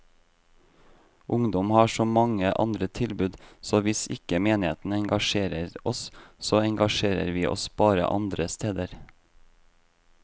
Ungdom har så mange andre tilbud, så hvis ikke menigheten engasjerer oss, så engasjerer vi oss bare andre steder.